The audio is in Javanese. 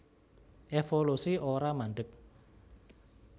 Évolusi ora mandheg